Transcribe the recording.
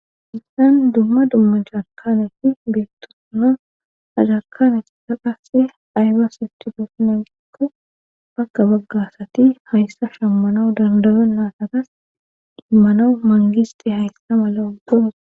Haysan dumma dumma jarkanefi biettosona ajarkane daqase ayba siti goos nangikko bakka baggasati hayssa shammana dandalo naataqas dimmanau mangisxi hayssa mala ubbos.